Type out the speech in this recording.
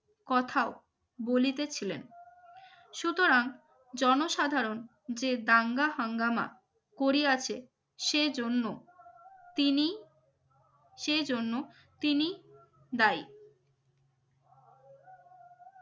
কোথাও ভুলিতে ছিলেন সুতরাং জনসাধারণ যে দাঙ্গা হাঙ্গামা করিয়াছে সেজন্য তিনি সেজন্য তিনি দায়ী